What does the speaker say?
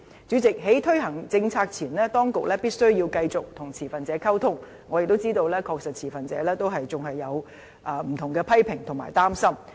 主席，在推行政策前，當局必須繼續與持份者溝通，我亦知道持份者確實仍有不同的批評和擔心。